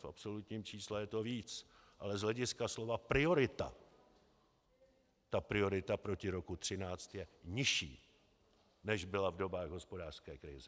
V absolutním čísle je to víc, ale z hlediska slova priorita ta priorita proti roku 2013 je nižší, než byla v dobách hospodářské krize.